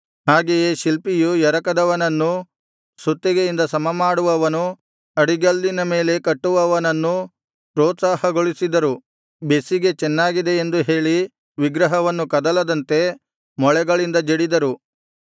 ಹಾಗೆಯೇ ಶಿಲ್ಪಿಯು ಎರಕದವನನ್ನೂ ಸುತ್ತಿಗೆಯಿಂದ ಸಮಮಾಡುವವನು ಅಡಿಗಲ್ಲಿನ ಮೇಲೆ ಕುಟ್ಟುವವನನ್ನೂ ಪ್ರೋತ್ಸಾಹಗೊಳಿಸಿದರು ಬೆಸಿಗೆ ಚೆನ್ನಾಗಿದೆ ಎಂದು ಹೇಳಿ ವಿಗ್ರಹವನ್ನು ಕದಲದಂತೆ ಮೊಳೆಗಳಿಂದ ಜಡಿದರು